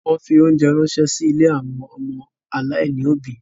Wọ́n fi óńjẹ ránṣẹ́ sí ilé àwọn ọmọ aláìní òbí.